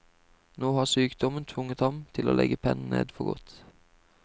Nå har sykdommen tvunget ham til å legge pennen ned for godt.